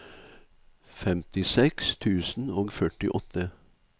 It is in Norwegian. femtiseks tusen og førtiåtte